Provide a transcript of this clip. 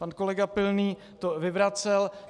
Pan kolega Pilný to vyvracel.